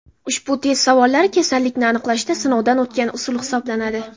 Ushbu test savollari kasallikni aniqlashda sinovdan o‘tgan usul hisoblanadi.